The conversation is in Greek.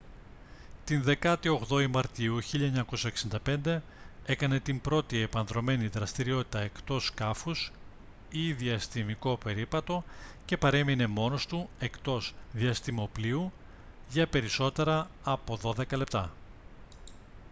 τη 18η μαρτίου 1965 έκανε την πρώτη επανδρωμένη δραστηριότητα εκτός σκάφους ή «διαστημικό περίπατο» και παρέμεινε μόνος του εκτός διαστημόπλοιου για περισσότερα από δώδεκα λεπτά